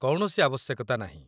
କୌଣସି ଆବଶ୍ୟକତା ନାହିଁ